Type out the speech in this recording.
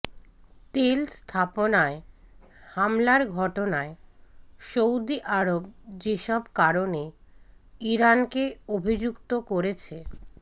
তেল স্থাপনায় হামলার ঘটনায় সৌদি আরব যেসব কারণে ইরানকে অভিযুক্ত করেছে